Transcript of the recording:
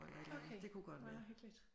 Okay. Meget hyggeligt